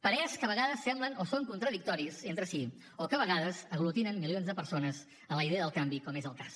parers que a vegades semblen o són contradictoris entre si o que a vegades aglutinen milions de persones en la idea del canvi com és el cas